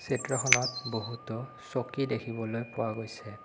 চিত্ৰখনত বহুতো চকী দেখিবলৈ পোৱা গৈছে।